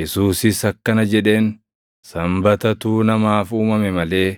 Yesuusis akkana jedheen; “Sanbatatu namaaf uumame malee